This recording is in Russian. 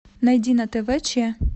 найди на тв че